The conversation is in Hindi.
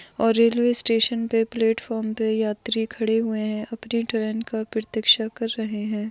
और रेल्वे स्टेशन पे प्लेटफॉर्म पे यात्री खड़े हुए है अपनी ट्रेन का प्रतीक्षा कर रहे है।